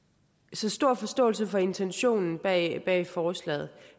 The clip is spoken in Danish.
så stor forståelse for intentionen bag bag forslaget